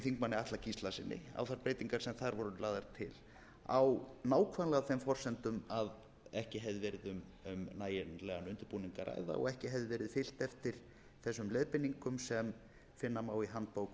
þingmanni atla gíslasyni á þær breytingar sem þar voru lagðar til á nákvæmlega þeim forsendum að ekki hefði verið um nægilegan undirbúning að ræða og ekki hefði verið fylgt eftir þessum leiðbeiningum sem finna má í handbók